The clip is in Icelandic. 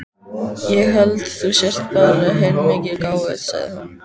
Ég held þú sért bara heilmikið gáfuð, sagði hún.